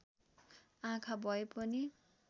आँखा भए पनि